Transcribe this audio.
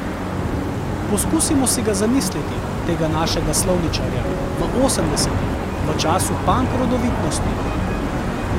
Poskusimo si ga zamisliti, tega našega slovničarja, v osemdesetih, v času pank rodovitnosti.